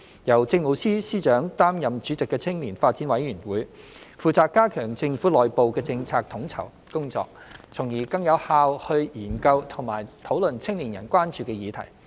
由政務司司長擔任主席的青年發展委員會，負責加強政府內部的政策統籌工作，從而更有效地研究和討論青年人關注的議題。